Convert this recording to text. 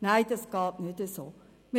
Nein, dies geht so nicht.